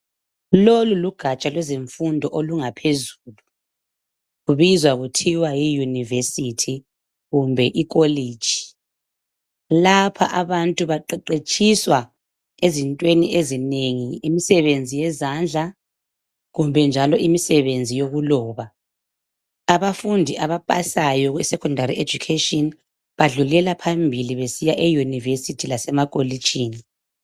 Lolu lugatsha lwezimfundo olungaphezulu, lubizwa kuthiwa yiYunivesithi kumbe ikoleji. Lapha abantu baqeqetshiswa ezintweni ezinengi: imisebenzi yezandla kumbe njalo imisebenzi yokuloba. Abafundi abapasayo isecondari ejukheshini badlulela phambili besiya eYunivesithi lasemakolejini.